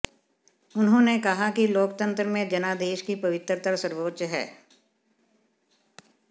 उन्होंने कहा कि लोकतंत्र में जनादेश की पवित्रता सर्वोच्च है